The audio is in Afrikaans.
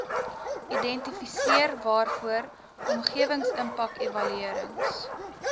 identifiseer waarvoor omgewingsimpakevaluerings